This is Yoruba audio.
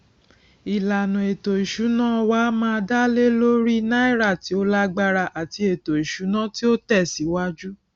ìlànà ètò ìsúná wá má dá lé lórí náírà tí ó lágbára àti ètò ìsúná tí ó tẹ síwájú